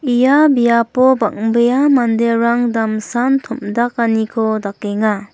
ia biapo bang·bea manderang damsan tom·dakaniko dakenga.